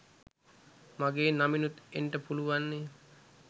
මගේ නමිනුත් එන්ට පුළුවන්නේ